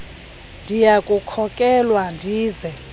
ndiya kukhokelwa ndize